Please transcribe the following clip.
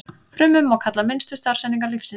Frumur má kalla minnstu starfseiningar lífsins.